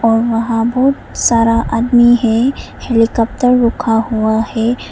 और वहां बहुत सारा आदमी है हेलीकॉप्टर रुका हुआ हैं।